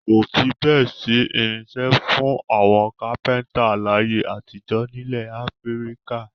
Kò fi bẹ́ẹ̀ sí irinṣẹ́ fún àwọn kápẹ́ńtà láyé àtijọ́ nílẹ̀ Áfíríkà.